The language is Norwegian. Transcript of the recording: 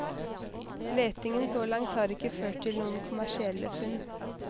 Letingen så langt har ikke ført til noen kommersielle funn.